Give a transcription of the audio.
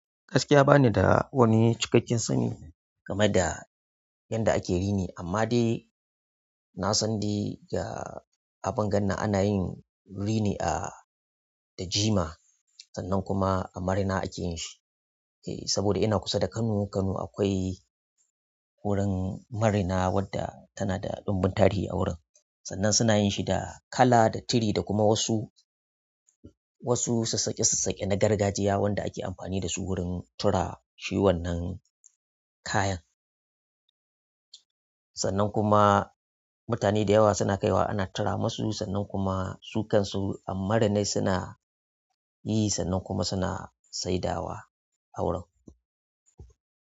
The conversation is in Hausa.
Gaskiya ba ni da wani cikakken sani game da yanda ake rini, amma dai na san dai ga abin ganna ana yin rini a, da jima sannan kuma a marina ake yin shi. Eh saboda ina kusa da Kano inkazo akwai wurin marina wadda tana da dunbin tarihi a wurin sannan suna yin shi da kala, da tiri da kuma wasu, wasu sassaƙe sassaƙe na gargajiya wanda ake amfani da su wurin tura shewannin kayan. Sannan kuma mutane dayawa suna kaiwa ana tura musu sannan kuma sun kansu marinan suna yi sannan kuma suna saidawa a wurin.